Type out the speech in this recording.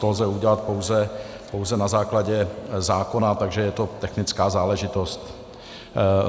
To lze udělat pouze na základě zákona, takže je to technická záležitost.